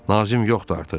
Nazim yoxdur artıq.